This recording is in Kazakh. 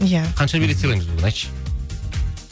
иә қанша билет сыйлаймыз бүгін айтшы